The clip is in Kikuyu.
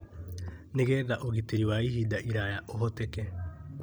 nĩ getha ũgitĩri wa ihinda iraya ũhoteke.